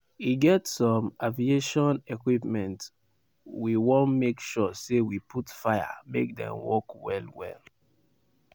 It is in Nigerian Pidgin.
"e get some (aviation) equipment we wan make sure say we put fire make dem work well-well.